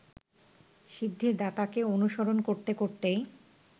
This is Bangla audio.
সিদ্ধিদাতাকে অনুসরণ করতে করতেই